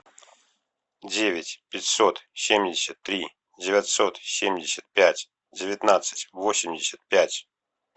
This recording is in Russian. девять пятьсот семьдесят три девятьсот семьдесят пять девятнадцать восемьдесят пять